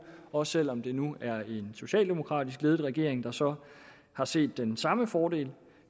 også selv om det nu er en socialdemokratisk ledet regering der så har set den samme fordel